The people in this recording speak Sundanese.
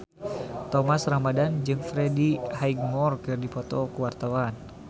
Thomas Ramdhan jeung Freddie Highmore keur dipoto ku wartawan